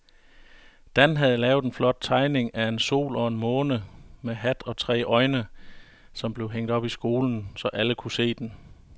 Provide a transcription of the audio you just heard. Dan havde lavet en flot tegning af en sol og en måne med hat og tre øjne, som blev hængt op i skolen, så alle kunne se den.